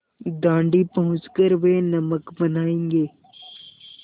दाँडी पहुँच कर वे नमक बनायेंगे